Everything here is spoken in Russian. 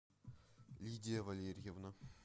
лидия валерьевна